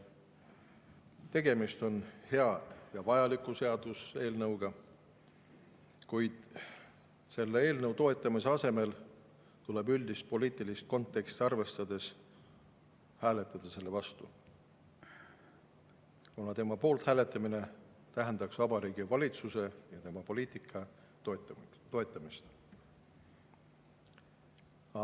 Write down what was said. Tegemist on hea ja vajaliku seaduseelnõuga, kuid selle eelnõu toetamise asemel tuleb üldist poliitilist konteksti arvestades hääletada selle vastu, kuna selle poolt hääletamine tähendaks Vabariigi Valitsuse ja tema poliitika toetamist.